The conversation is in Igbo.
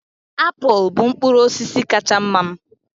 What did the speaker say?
Apụl bụ mkpụrụ osisi kacha mma m